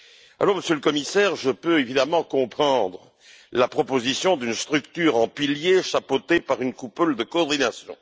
Alors Monsieur le Commissaire, je peux évidemment comprendre la proposition d'une structure en piliers chapeautée par une coupole de coordination.